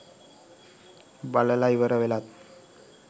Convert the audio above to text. බලල ඉවර වෙලාත්